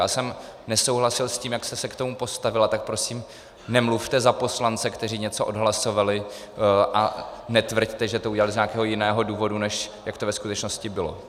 Já jsem nesouhlasil s tím, jak jste se k tomu postavila, tak prosím nemluvte za poslance, kteří něco odhlasovali, a netvrďte, že to udělali z nějakého jiného důvodu, než jak to ve skutečnosti bylo.